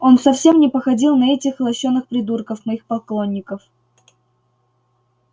он совсем не походил на этих лощёных придурков моих поклонников